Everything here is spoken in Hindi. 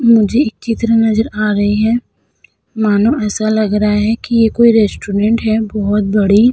मुझे एक चित्र नजर आ रही है। मानो ऐसा लग रहा है कि ये कोई रेस्टोरेंट है बहोत बड़ी।